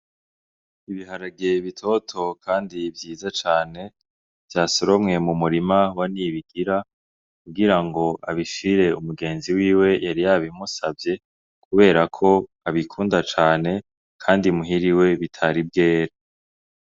Ibiharage bitoto kandi vyiza cane vyasoromwe mumurima wa Ntibigira kugira ngo abishire mugenzi wiwe yari yabimusavye kubera ko abikunda cane kandi muhira iwe bitari bwere.